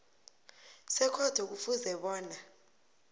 sekhotho kufuze bona